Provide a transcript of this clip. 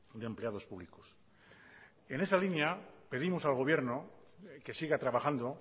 de empleados públicos en esa línea pedimos al gobierno que siga trabajando